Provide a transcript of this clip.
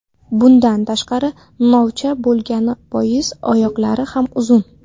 Bundan tashqari, novcha bo‘lgani bois oyoqlari ham uzun.